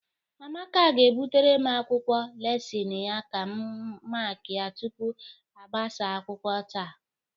Amaka ga-ebutere m akwụkwọ lesịnị ya ka m makịa tupu a gbasaa akwụkwọ taa.